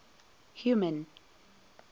human